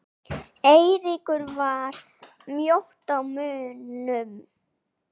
Eiríkur var mjótt á munum?